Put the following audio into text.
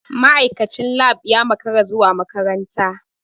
Ma'aikacin lab ya makara zuwa makaranta.